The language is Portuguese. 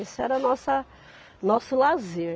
Esse era a nossa nosso lazer.